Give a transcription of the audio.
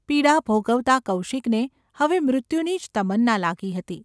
પીડા ભોગવતા કૌશિકને હવે મૃત્યુની જ તમન્ના લાગી હતી.